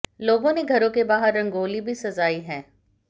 लोगों ने घरों के बाहर रंगोली भी सजाई है